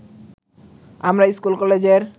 আমরা স্কুল-কলেজের